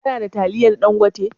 Ka na da taliyan Ɗangote?